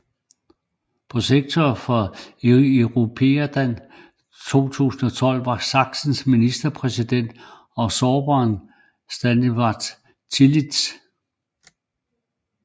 Protektor for Europeada 2012 var Sachsens ministerpræsident og sorberen Stanislaw Tillich